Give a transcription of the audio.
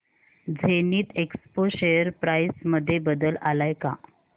Zenith Expo share price मध्ये बदल आलाय का